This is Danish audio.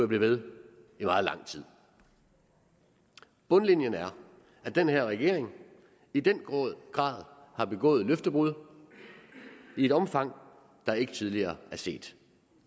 blive ved i meget lang tid bundlinjen er at den her regering i den grad har begået løftebrud i et omfang der ikke tidligere er set